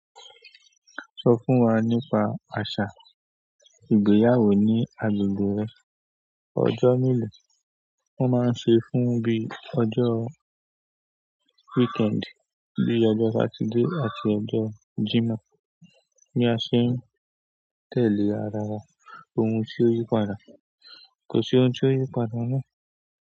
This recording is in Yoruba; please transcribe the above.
Sọ fún wa nípa àṣà ìgbéyàwó ní agbègbè rẹ. Ọjọ́ mélòó wọ́n máa ń ṣe fún bí i ọjọ́ weekend, bíi ọjọ́ Saturday àti ọjọ́ Sunday. Ní àṣẹ ń tẹ̀lé àràrá ohun tí ó yí padà. Kò sí ohun tí ó yí padà ná.